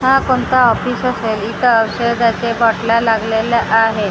हा कोणता ऑफिस असेल इथं औषधाच्या बाटल्या लागलेल्या आहेत खूप सा--